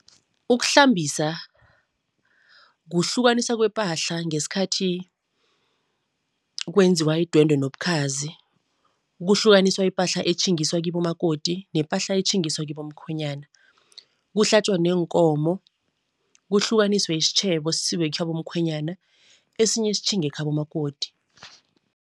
Ukuhlambisa, kuhlukanisa kwepahla ngesikhathi kwenziwa idwendwe nobukhazi. Kuhlukaniswa ipahla etjhingiswa kibomakoti nepahla etjhingiswa kibomkhwenyana. Kuhlatjwa neenkomo, kuhlukaniswe isitjhebo sisiwe ekhabomkhwenyana, esinye sitjhinge ekhabo makoti.